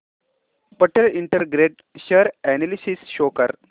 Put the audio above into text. Patel integrate share analysis show कर